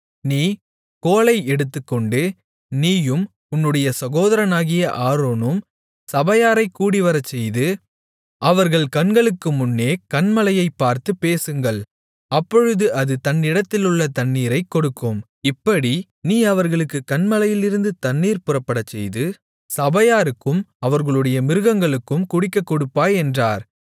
நீ கோலை எடுத்துக்கொண்டு நீயும் உன்னுடைய சகோதரனாகிய ஆரோனும் சபையாரைக் கூடிவரச்செய்து அவர்கள் கண்களுக்குமுன்னே கன்மலையைப் பார்த்துப் பேசுங்கள் அப்பொழுது அது தன்னிடத்திலுள்ள தண்ணீரைக் கொடுக்கும் இப்படி நீ அவர்களுக்குக் கன்மலையிலிருந்து தண்ணீர் புறப்படச்செய்து சபையாருக்கும் அவர்களுடைய மிருகங்களுக்கும் குடிக்கக் கொடுப்பாய் என்றார்